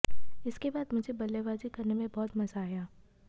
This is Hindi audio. इसके बाद मुझे बल्लेबाजी करने में बहुत मजा आया